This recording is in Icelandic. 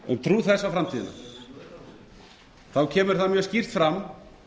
um trú þess á framtíðina kemur það mjög skýrt fram